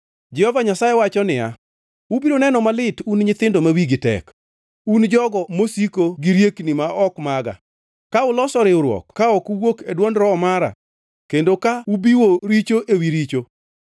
Jehova Nyasaye wacho niya, “Ubiro neno malit, un nyithindo ma wigi tek, un jogo mosieko gi riekni ma ok maga, ka uloso riwruok ka ok owuok e dwond Roho mara, kendo ka ubiwo richo ewi richo;